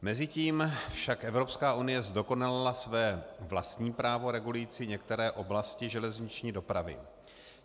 Mezitím však Evropská unie zdokonalila své vlastní právo regulující některé oblasti železniční dopravy.